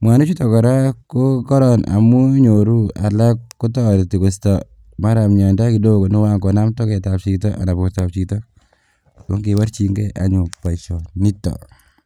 mwanichuto koraa kokoron amun inyoru alak kotoreti koisto maran miondo kidogo nekoan konam togetab chito anan bortab chito ongeborjingee anyun boisionito.